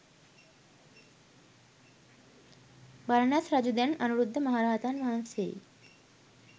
බරණැස් රජු දැන් අනුරුද්ධ මහරහතන් වහන්සේයි.